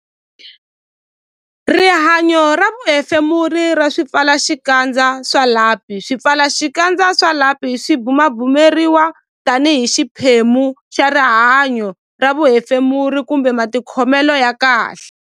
Rihanyo ra vuhefemuri ra swipfalaxikandza swa lapi Swipfalaxikandza swa lapi swi bumabumeriwa tanihi xiphemu xa rihanyo ra vuhefemuri kumbe matikhomelo ya kahle.